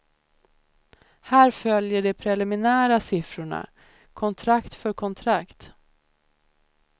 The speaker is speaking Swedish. Här följer de preliminära siffrorna, kontrakt för kontrakt.